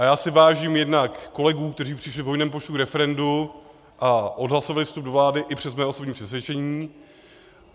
A já si vážím jednak kolegů, kteří přišli v hojném počtu k referendu a odhlasovali vstup do vlády, i přes mé osobní přesvědčení.